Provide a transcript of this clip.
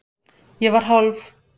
Ég var hálf